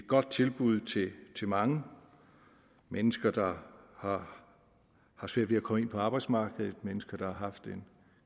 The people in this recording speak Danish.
godt tilbud til mange mennesker der har har svært ved at komme ind på arbejdsmarkedet mennesker der har haft en